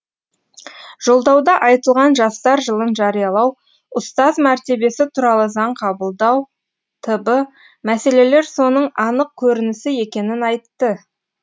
жолдауда айтылған жастар жылын жариялау ұстаз мәртебесі туралы заң қабылдау т б мәселелер соның анық көрінісі екенін айтты